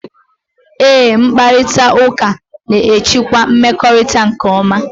Eé, mkparịtaụka na-echekwa mmekọrịta nke ọma.